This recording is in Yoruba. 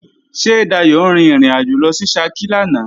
Ṣé Dayò rin ìrìnàjò lọ sí Ṣakí lánàá?